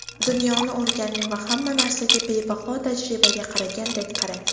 Dunyoni o‘rganing va hamma narsaga bebaho tajribaga qaragandek qarang.